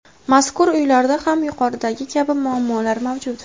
Mazkur uylarda ham yuqoridagi kabi muammolar mavjud.